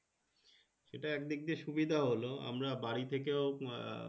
সেটা একদিক দিয়ে সুবিদ হল আমরা বাড়ি থাকেও আহ